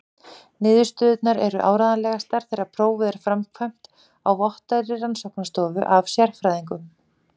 Niðurstöðurnar eru áreiðanlegastar þegar prófið er framkvæmt á vottaðri rannsóknarstofu af sérfræðingum.